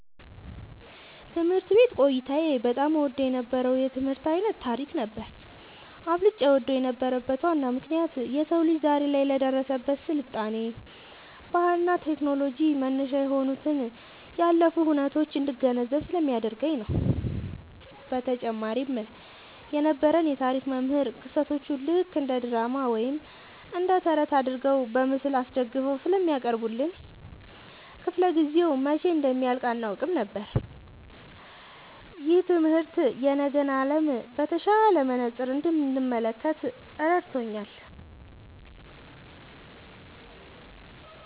ትምህርት ቤት ቆይታዬ በጣም እወደው የነበረው የትምህርት ዓይነት ታሪክ ነበር። አብልጬ እወደው የነበረበት ዋናው ምክንያት የሰው ልጅ ዛሬ ላይ ለደረሰበት ስልጣኔ፣ ባህልና ቴክኖሎጂ መነሻ የሆኑትን ያለፉ ሁነቶች እንድገነዘብ ስለሚያደርገኝ ነው። በተጨማሪም የነበረን የታሪክ መምህር ክስተቶቹን ልክ እንደ ድራማ ወይም ተረት አድርገው በምስል አስደግፈው ስለሚያቀርቡልን፣ ክፍለ-ጊዜው መቼ እንደሚያልቅ አናውቅም ነበር። ይህ ትምህርት የነገን ዓለም በተሻለ መነጽር እንድመለከት ረድቶኛል።"